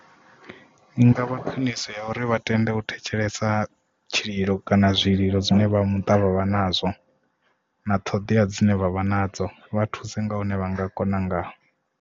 I ngavha khwiniso ya uri vha tende u thetshelesa tshililo kana zwililo zwine vha muṱa vha vha nazwo na ṱhoḓea dzine vha vha nadzo vha thuse nga hune vha nga kona ngaho.